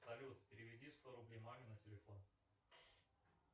салют переведи сто рублей маме на телефон